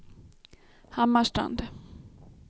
Hammarstrand